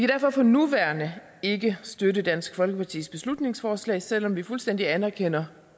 derfor for nuværende ikke støtte dansk folkepartis beslutningsforslag selv om vi fuldstændig anerkender